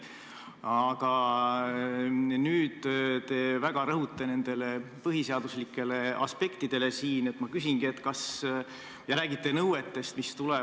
Aga nüüd te väga rõhute põhiseaduslikele aspektidele ja räägite nõuetest, mis tulevad.